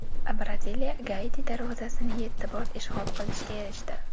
Braziliya Gaiti darvozasini yetti bor ishg‘ol qilishga erishdi .